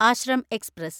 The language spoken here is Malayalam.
ആശ്രം എക്സ്പ്രസ്